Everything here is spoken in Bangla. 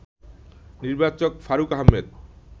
নির্বাচক ফারুক আহমেদ